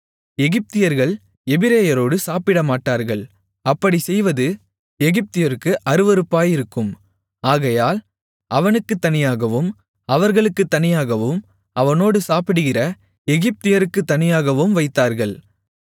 எகிப்தியர்கள் எபிரெயரோடு சாப்பிடமாட்டார்கள் அப்படிச் செய்வது எகிப்தியருக்கு அருவருப்பாயிருக்கும் ஆகையால் அவனுக்குத் தனியாகவும் அவர்களுக்குத் தனியாகவும் அவனோடு சாப்பிடுகிற எகிப்தியருக்குத் தனியாகவும் வைத்தார்கள்